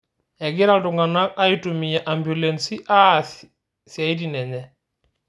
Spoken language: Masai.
Kegira ltung'ana aitumia ambulensi aas siatin enye